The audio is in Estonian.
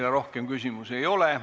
Teile rohkem küsimusi ei ole.